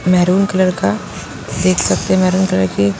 maroon colour का देख सकते हैं मैरून कलर की--